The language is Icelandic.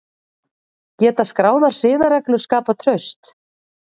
Geta skráðar siðareglur skapað traust?